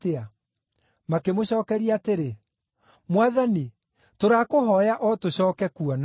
Makĩmũcookeria atĩrĩ, “Mwathani, tũrakũhooya o tũcooke kuona.”